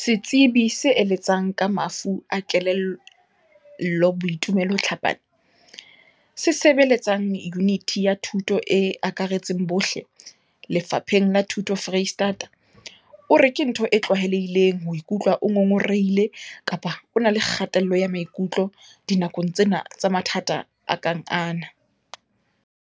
Setsebi se eletsang ka mafu a kelello Boitumelo Tlhapane, se sebeletsang Yuniti ya Thuto e Akaretsang bohle, Lefapheng la Thuto Freistata, o re ke ntho e tlwaelehileng ho ikutlwa o ngongorehile kapa o na le kgatello ya maikutlo dinakong tsena tsa mathata a kang ana.